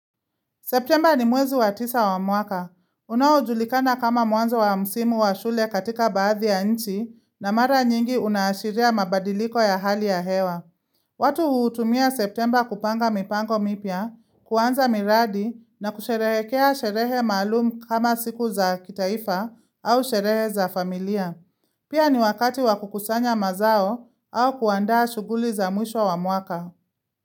September ni mwezi wa tisa wa mwaka. Unaujulikana kama mwanzo wa msimu wa shule katika baadhi ya nchi na mara nyingi unashiria mabadiliko ya hali ya hewa. Watu hutumia September kupanga mipango mipya, kuanza miradi na kusherehekea sherehe maalum kama siku za kitaifa au sherehe za familia. Pia ni wakati wakukusanya mazao au kuandaa shuguli za mwisho wa mwaka.